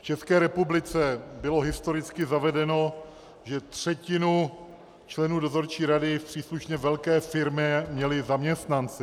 V České republice bylo historicky zavedeno, že třetinu členů dozorčí rady v příslušně velké firmě měli zaměstnanci.